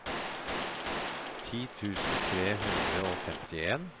ti tusen tre hundre og femtien